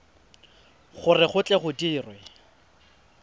gore go tle go dirwe